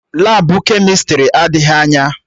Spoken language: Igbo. Labụ kemịstrị adịghị anya